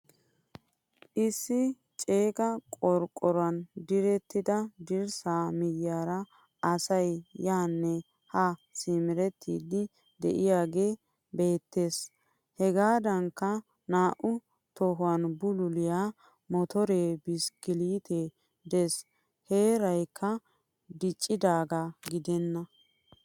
Issi ceegaa qoroqoruwan direttida dirssa miyiyara asay yanne ha simerettidi de'iyage beetees. Hegaadankka naa"u tohuwan bululiyaa motore, biskkilettekka de'ees. Heeraykka diccidaga gidenna.